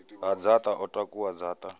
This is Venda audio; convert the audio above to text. ha dzaṱa o takuwa dzaṱa